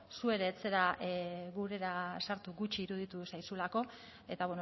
zu ere ez zara gurera sartu gutxi iruditu zaizulako eta